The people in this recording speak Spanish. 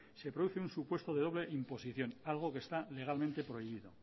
se produce un supuesto de doble imposición algo que está legalmente prohibido